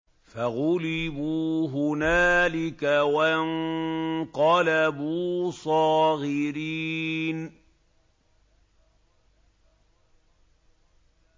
فَغُلِبُوا هُنَالِكَ وَانقَلَبُوا صَاغِرِينَ